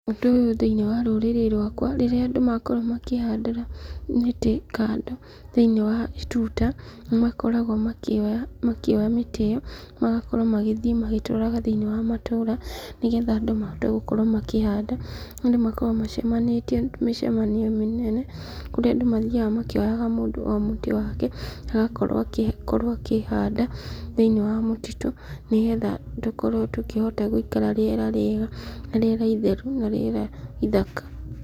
Ũndũ ũyũ thĩinĩ wa rũrĩrĩ rwakwa, rĩrĩa andũ makorwo makĩhandĩra mĩtĩ kando thiinĩ wa tuta, nĩ makoragwo makĩoya mĩtĩ ĩyo, magakorwo magĩthiĩ magĩtwaraga thĩinĩ wa matũũra, nĩ getha andũ mahote gũkorwo makĩhanda, andũ makoragwo macemanĩtie mĩcemanio mĩnene, kũrĩa andũ mathiaga makĩoyaga mũndũ o mũtĩ wake, agakorwo akĩhanda thĩinĩ wa mũtitũ, nĩ getha tũkorwo tũkĩhota gũikara rĩera rĩega, na rĩera itheru, na rĩera ithaka.